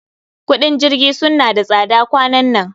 Kudin jirgi sunna da tsada kwanan nan